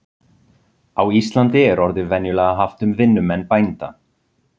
Á Íslandi er orðið venjulega haft um vinnumenn bænda.